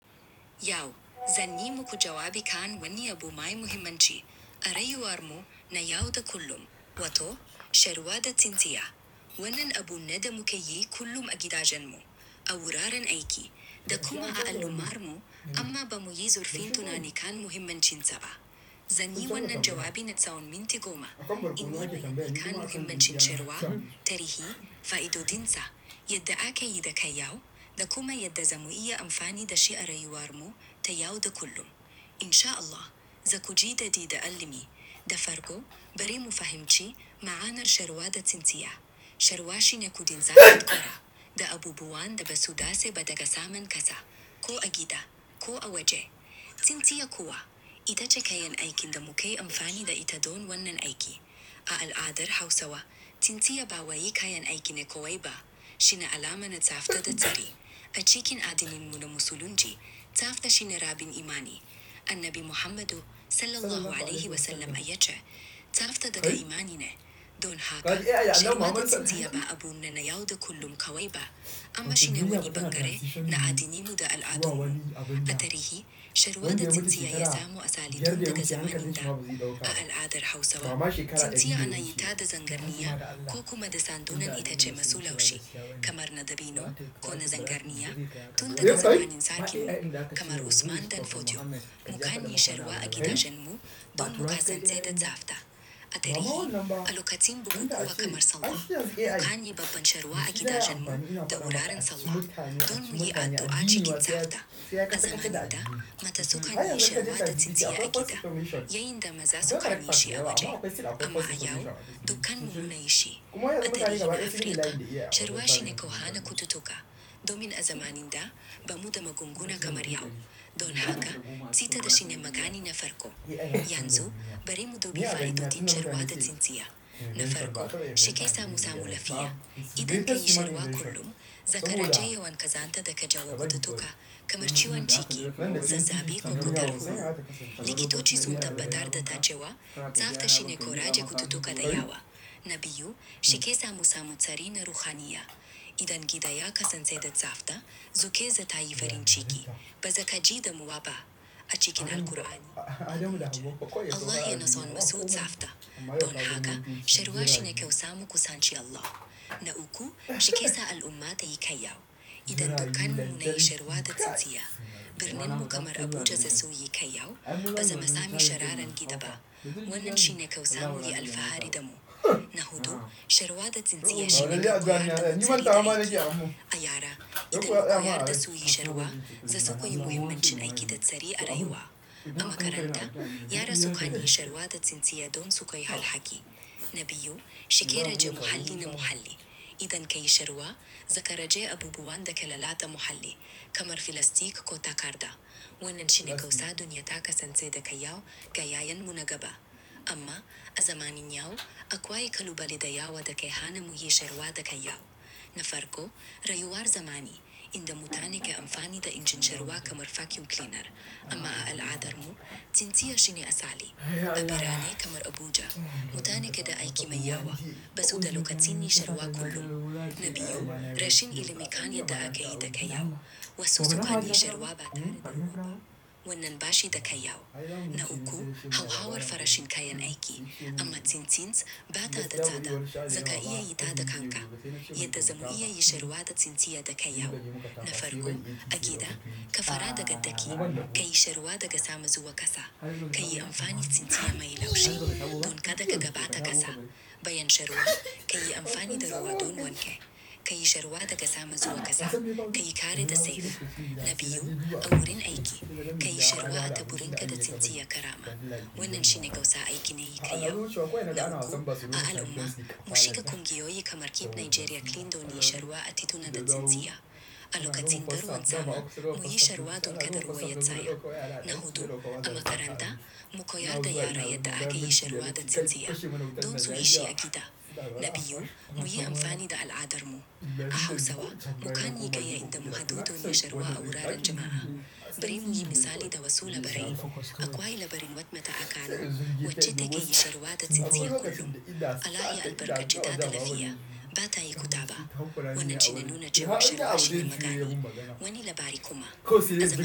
Yau, zan yi muku jawabi kan wani abu mai muhimmanci. A rayuwar mu na yau da kullum, wato shan ruwa da tsintsiya. Wannan abu na damu ke yi kullum a gida jan mu, awurar an aiki. Da kuma a alumar mu, amma ba muyi zurfin tuna ni kan muhimmancin sa ba. Zan yi wannan jawabi na tsawon minti goma, in godewa ni kan muhimmancin sharuwa, tarihi, fa'idodin sa, yadda ake yi da kai yau, da kuma yadda zamu iya amfani da shi a rayuwar mu ta yau da kullum. In sha Allah, za ku ji daɗi da ilimi. Da farko, bari mu fahimci ma'anar sharuwa da tsintsiya. Sharuwa shine kudin zafi da kora, da abubuwan da ba su dace ba da gasa man kasa, ko a gida, ko a waje. Tsintsiya kuwa, ita ce kayan aikin da muke amfani da ita don wannan aiki. A al'adar Hausawa, tsintsiya ba waye kayan aikin da kawai ba. Shine alamar na tsafta da tsari. A cikin addinin mu na Musulunci, tsafta shine rabin imani. Annabi Muhammadu, Sallallahu Alaihi Wasallam ya ce, "Tsafta daga imani ne." Don haka, shan ruwa da tsintsiya ba abu na na yau da kullum kawai ba, amma shine wani bangare na addinin mu da al'adar mu. A tarihi, sharuwa da tsintsiya ya samu asali tun daga zamanin da. A al'adar Hausawa, tsintsiya na yi tada zangar niya, ko kuma da sandunan ita ce masu laushi, kamar na dabino ko na zangar niya, tun daga zamanin sarki, kamar Usman dan Fodio. Mukan yi sharuwa a gida jan mu, don muka sance da tsafta. A tarihi, alakatsin birni kuwa kamar Sallah, mukan yi babban sharuwa a gida jan mu, da wuraren Sallah, don mu yi addu'a cikin tsafta. A zamanin da, mata suka yi sharuwa da tsintsiya a gida, yayinda maza suka yi shi a waje. Amma a yau, dukkan mu me shi. A tarihin Afirka, sharuwa shine ko hana kututuƙa, don min azamanin da, bamu da magunguna kamar yau. Don haka, tsita da shine magani na farko. Yanzu, bari mu dubi fa'idodin sharuwa da tsintsiya. Na farko, shi ke sa mu samu lafiya. Idan kayi sharuwa kullum, za ka rage yawan kazanta da ka janwo da tuƙa, kamar ciwon ciki, zazzaɓi ko kutar wuya. Likitoci sun tabbatar da ta cewa, tsafta shine kora ce kututuƙa da yawa. Na biyu, shi ke sa mu samu tsari na ruhaniya. Idan gida ya kasance da tsafta, zuƙa za ta yi farin ciki, ba za ka ji damuwa ba. A cikin Alqur'ani, Allah yana so masu tsafta. Don haka, shi ruwa shine ke samu ku sanci Allah. Na uku, shi ke sa al'umma tai kyau. Idan dukkan mu nayi sharuwa da tsintsiya, birnin mu kamar Abuja za su yi kai yau, ba za mu sami sharan gida ba. Wannan shine ke samu ye alfahari damu. Na hudu, sharuwa da tsintsiya shine wani kudi da ake aiki da shi. A yara, idan ku yaɗa su yi shara, za su koya muhimmancin aiki da tsari a rayuwa. Ko a maranta, yara suka yi shara da tsintsiya don su koya halhaki. Na biyu, shi ke rage muhalli na muhalli. Idan kayi shara, za ka rage abubuwan da ke lalata muhalli, kamar filastik ko takarda. Wannan shine kyau sa duniya ta kasance da kai yau, ga yayan mu na gaba. Amma, azamanin yau, akwai kalubale da yawa da kai hana muyi shara da kyau. Na farko, rayuwar zamani, inda mu tane kai amfani da injin shara kamar vacuum cleaner. Amma a al'adar mu, tsintsiya shine asali. A birane kamar Abuja, mutane ke da aiki mai yawa, ba su da lokacin yi shara kullum. Na biyu, rashin ilimi kan yadda ake yi da kai yau, wasu suka yi shara ba tare da wuka. Wannan bashi da kai yau. Na uku, hauhawar farashin kayan aiki, amma tsintsints, ba ta da tsada, za ka iya yi ta da kanka. Yadda zamu iya yi sharuwa da tsintsiya da kai yau? Na farko, a gida, ka fara da gaddaki, kayi sharuwa da gasa mazuwa kasa, kayi amfani tsintsiya mai laushi, don kada ka gaba ta kasa. Bayan sharuwa, kayi amfani da ruwa don wanke. Kayi shara da ga sama zuwa kasa, kayi kara da sefa. Na biyu, a wurin aiki, kayi shara a taburin kada tsintsiya karama. Wannan shine kyawu sa aikin na yi kai yau. Na uku, a al'umma, mu shiga kungiyoyi kamar Keep Nigeria Clean don yi sharuwa a tituna da tsintsiya. A lokacin da ruwan sama, muyi shara don kada ruwa ya tsayu. Na hudu, amma karanta, mu koyar da yara yadda ake yi shara da tsintsiya, don su yi shi a gida. Na biyu, muyi amfani da al'adar mu. A Hausawa, mukan yi gaya inda mu haɗu don yi sharuwa awurar jama'a. Bari muyi misali da Wasu Labarai. Akwai labarin wadda mata a kano, waca take yi shara da tsintsiya kullum. Allah ya albarkace ta da lafiya, ba ta yi kutaba. Wannan shine nuna jama'a sharuwa shine magani. Wani labari kuma.